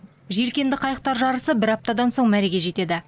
желкенді қайықтар жарысы бір аптадан соң мәреге жетеді